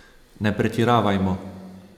Ne pretiravajmo.